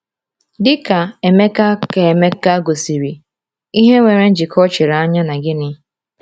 Dị ka Emeka ka Emeka gosiri, ìhè nwere njikọ chiri anya na gịnị?